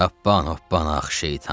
Hobbay, hobbay, ax şeytan!